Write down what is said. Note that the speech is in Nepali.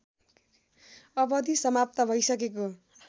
अवधि समाप्त भइसकेको